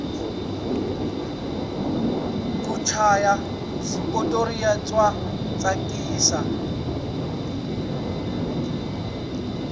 ku chaya xipotoriya swa tsakisa